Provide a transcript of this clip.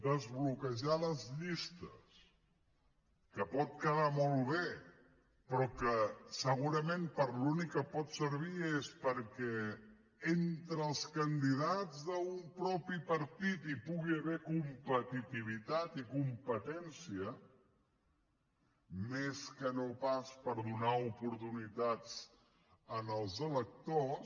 desbloquejar les llistes que pot quedar molt bé però que segurament per a l’únic que pot servir és perquè entre els candidats d’un mateix partit hi pugui haver competitivitat i competència més que no pas per donar oportunitats als electors